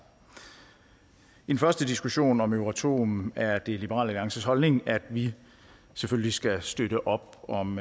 i den første diskussion om euratom er liberal alliances holdning at vi selvfølgelig skal støtte op om